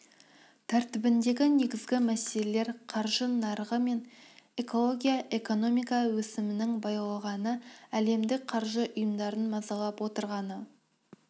тәртібіндегі негізгі мәселелер қаржы нарығы мен экология экономика өсімінің баяулағаны әлемдік қаржы ұйымдарын мазалап отырғаны